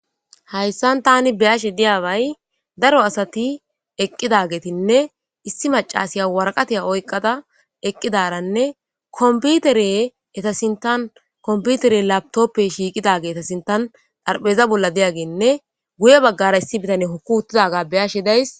hayssan tani beyashe diyaaway daro asati eqqidagetinne issi macasiya waraqatiya oyqada eqqidaranne kompiutere eta sintan kompiutere laptoppe shiiqida geeta sintan dharpheeza bolla deyaginne guye baggara issi bitane hokku huttidaga beyashe days